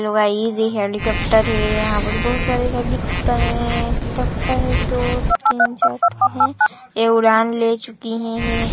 Hello guys ये helicopter है यहाँ पर बहुत सारे हेलीकॉप्टर है लगता है दो तीन चार ठो है ये उड़ान ले चुकी है।